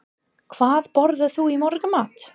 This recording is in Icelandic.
Hvað borðar þú í morgunmat?